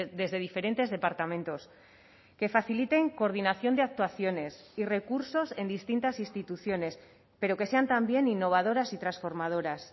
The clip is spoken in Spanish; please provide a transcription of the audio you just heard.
desde diferentes departamentos que faciliten coordinación de actuaciones y recursos en distintas instituciones pero que sean también innovadoras y transformadoras